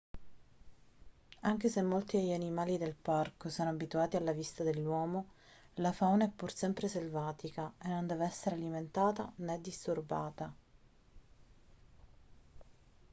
anche se molti degli animali del parco sono abituati alla vista dell'uomo la fauna è pur sempre selvatica e non deve essere alimentata né disturbata